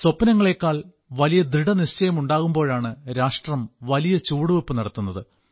സ്വപ്നങ്ങളേക്കാൾ വലിയ ദൃഢനിശ്ചയങ്ങളുണ്ടാകുമ്പോഴാണ് രാഷ്ട്രം വലിയ ചുവടുവെയ്പ് നടത്തുന്നത്